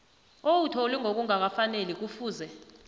owuthole ngokungakafaneli kufuze